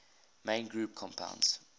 main group compounds